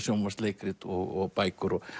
sjónvarpsleikrit og bækur